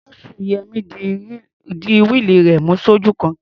Axle Yẹmí di wíìlì rẹ̀ mú sójú kan.